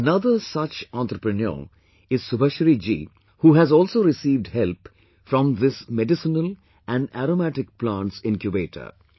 Another such entrepreneur is Subhashree ji who has also received help from this Medicinal and Aromatic Plants Incubator